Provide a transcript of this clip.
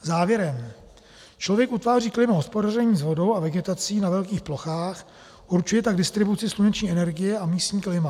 Závěrem: Člověk utváří klima hospodařením s vodou a vegetací na velkých plochách, určuje tak distribuci sluneční energie a místní klima.